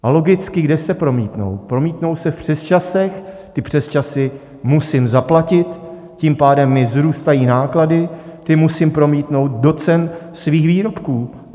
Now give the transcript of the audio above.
A logicky, kde se promítnou: promítnou se v přesčasech, ty přesčasy musím zaplatit, tím pádem mi vzrůstají náklady, ty musím promítnout do cen svých výrobků.